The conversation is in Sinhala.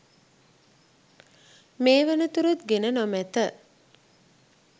මේ වන තුරුත් ගෙන නොමැත